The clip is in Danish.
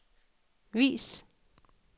vis